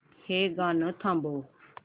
हे गाणं थांबव